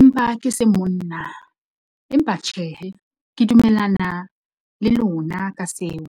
Empa ke se monna, empa tjhehe ke dumellana le lona ka seo.